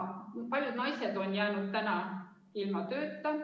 Paljud naised on nüüd jäänud ilma tööta.